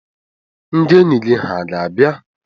ndị enyi gị hà ga-abịa?